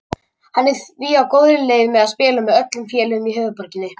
Hann er því á góðri leið með að spila með öllum félögum í höfuðborginni.